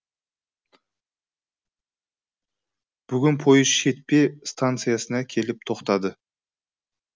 бүгін пойыз шетпе станциясына келіп тоқтады